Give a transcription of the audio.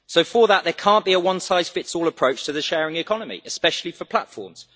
For that, there cannot be a one-size-fits-all approach to the sharing economy especially for platforms.